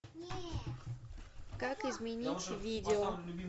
как изменить видео